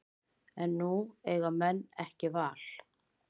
En nú eiga menn ekki val